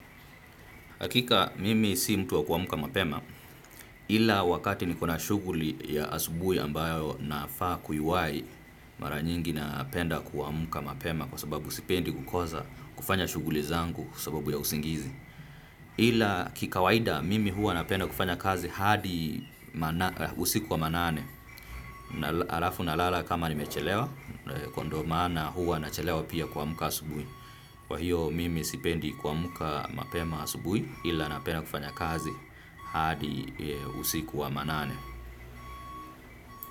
Hakika mimi si mtu wa kuamka mapema ila wakati nikona shughuli ya asubuhi ambayo nafaa kuiwai mara nyingi napenda kuamka mapema kwa sababu sipendi kukosa kufanya shughuli zangu kwa sababu ya usingizi. Ila kikawaida mimi huwa napenda kufanya kazi hadi usiku wa manane, alafu nalala kama nimechelewa, kwa ndio maana hua nachelewa pia kuamka asubuhi. Kwa hiyo mimi sipendi kuamka mapema asubuhi ila napenda kufanya kazi hadi usiku wa manane.